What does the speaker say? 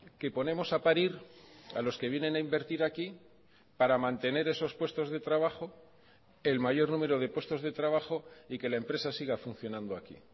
que ponemos a parir a los que vienen a invertir aquí para mantener esos puestos de trabajo el mayor número de puestos de trabajo y que la empresa siga funcionando aquí